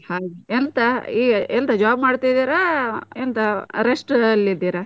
ಎಂತ ಎಂತ job ಮಾಡ್ತಿದ್ದೀರಾ ಎಂತ rest ಅಲ್ಲಿ ಇದೀರಾ?